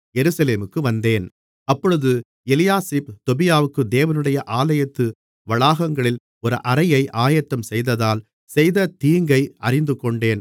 எருசலேமுக்கு வந்தேன் அப்பொழுது எலியாசிப் தொபியாவுக்கு தேவனுடைய ஆலயத்து வளாகங்களில் ஒரு அறையை ஆயத்தம்செய்ததால் செய்த தீங்கை அறிந்துகொண்டேன்